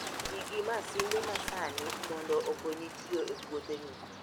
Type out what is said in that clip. Ti gi masinde masani mondo okonyi tiyo e puotheni